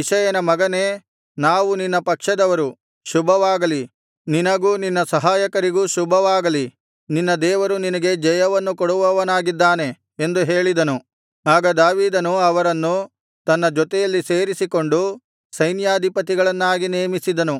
ಇಷಯನ ಮಗನೇ ನಾವು ನಿನ್ನ ಪಕ್ಷದವರು ಶುಭವಾಗಲಿ ನಿನಗೂ ನಿನ್ನ ಸಹಾಯಕರಿಗೂ ಶುಭವಾಗಲಿ ನಿನ್ನ ದೇವರು ನಿನಗೆ ಜಯವನ್ನು ಕೊಡುವವನಾಗಿದ್ದಾನೆ ಎಂದು ಹೇಳಿದನು ಆಗ ದಾವೀದನು ಅವರನ್ನು ತನ್ನ ಜೊತೆಯಲ್ಲಿ ಸೇರಿಸಿಕೊಂಡು ಸೈನ್ಯಾಧಿಪತಿಗಳನ್ನಾಗಿ ನೇಮಿಸಿದನು